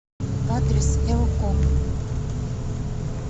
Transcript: адрес элком